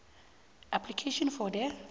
application for the